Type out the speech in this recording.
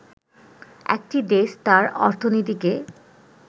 একটি দেশ তার অর্থনীতিকে